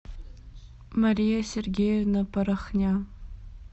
мария сергеевна порохня